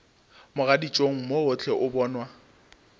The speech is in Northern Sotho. mogaditšong mo gohle o bonwa